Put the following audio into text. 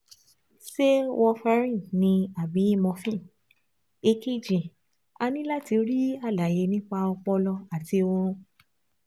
Ṣé warfarin ni àbí morphine? Èkejì, a ní láti rí àlàyé nípa ọpọlọ àti ọrùn